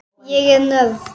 Ég er nörd.